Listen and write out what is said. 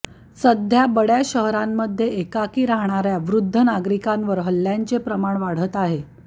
सध्या बडय़ा शहरांमध्ये एकाकी राहणाऱया वृद्ध नागरीकांवर हल्ल्यांचे प्रमाण वाढत आहे